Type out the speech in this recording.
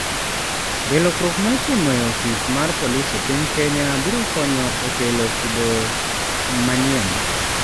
Be lokruok ma itimo e ofis mar polisi e piny Kenya biro konyo e kelo kido manyien?